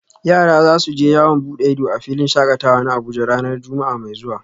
Yara za su je yawon bude ido a filin shakatawa na Abuja ranar Juma’a mai zuwa